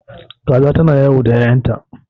Kaza ta na yawo da ƴaƴanta